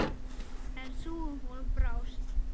En sú von brást.